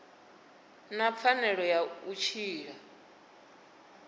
na pfanelo ya u tshila